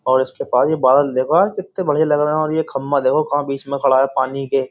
और इसके पास ये बादल देखो यार कितने बढ़िया लग रहे हैं और ये खम्मा देखो कहां बीच में खड़ा है पानी के --